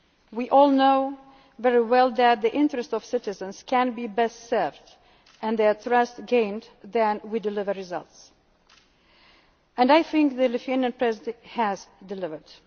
Year of Citizens. We all know very well that the interests of citizens can be best served and their trust gained when we deliver results and I think the Lithuanian